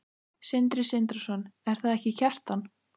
Sindri Sindrason: Er það ekki Kjartan?